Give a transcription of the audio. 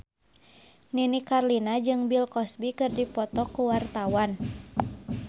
Nini Carlina jeung Bill Cosby keur dipoto ku wartawan